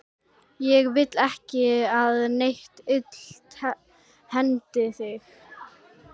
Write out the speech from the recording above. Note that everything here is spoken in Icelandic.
Ég vil ekki að neitt illt hendi þig.